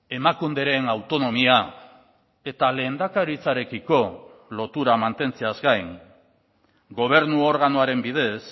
emakunderen autonomia eta lehendakaritzarekiko lotura mantentzeaz gain gobernu organoaren bidez